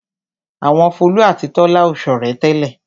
Àwọn Folú àti Tọ́lá ò ṣọ̀rẹ́ tẹ́lẹ̀.